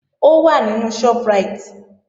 Ó wà nínú Shoprite